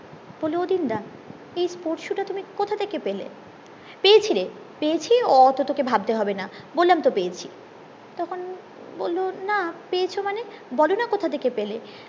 বলি ও দিন দা এই sports shoe টা তুমি কথা থেকে পেলে পেয়েছি রে পেয়েছি অত তোকে ভাবতে হবে না বললাম তো পেয়েছি তখন বললো না পেয়েছো মানে বোলো না কথা থেকে পেলে